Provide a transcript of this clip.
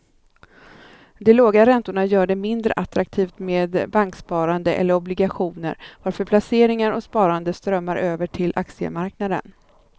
De låga räntorna gör det mindre attraktivt med banksparande eller obligationer varför placeringar och sparande strömmar över till aktiemarknaden.